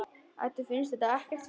Eddu finnst þetta ekkert fyndið.